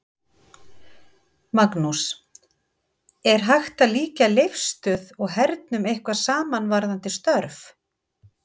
Magnús: Er hægt að líkja Leifsstöð og hernum eitthvað saman varðandi störf?